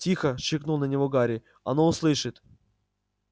тихо шикнул на него гарри оно услышит